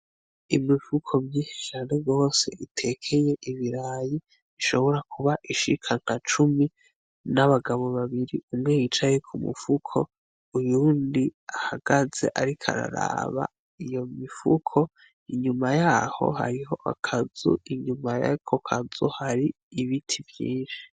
Imifuko myinshi cane gose itekeye ibirayi ishobora kuba ishika nka cumi n' abagabo babiri imwe yicaye kumufuko uyundi ahagaze ariko araraba iyo mifuko, inyuma yaho hariho akazu inyuma yako kazu hari ibiti vyinshi.